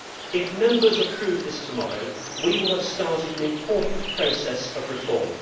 If Members approve this tomorrow, we will have started an important process of reform.